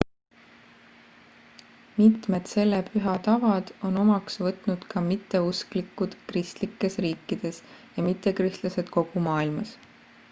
mitmed selle püha tavad on omaks võtnud ka mitteusklikud kristlikes riikides ja mittekristlased kogu maailmas